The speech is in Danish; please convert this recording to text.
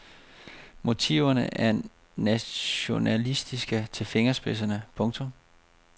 Motiverne er nationalistiske til fingerspidserne. punktum